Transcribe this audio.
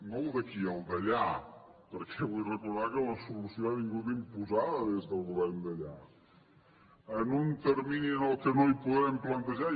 no el d’aquí el d’allà perquè vull recordar que la solució ha vingut imposada des del govern d’allà en un termini en què no podem plantejar